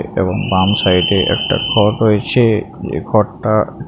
এবং বাম সাইডে একটা ঘর রয়েছে ঘরটা--